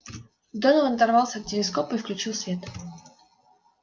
донован оторвался от телескопа и включил свет